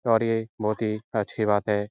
और ये बहुत ही अच्छी बात है।